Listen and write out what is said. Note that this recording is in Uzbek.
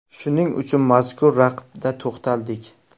Shuning uchun mazkur raqibda to‘xtaldik.